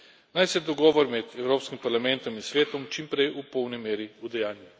Naj se dogovor med Evropskim parlamentom in Svetom čim prej v polni meri udejanji.